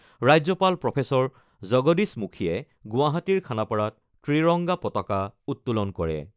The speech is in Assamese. ৰাজ্যপাল প্ৰফেচৰ জগদীশ মুখীয়ে গুৱাহাটীৰ খানাপাৰাত ত্ৰিৰংগা পতাকা উত্তোলন কৰে।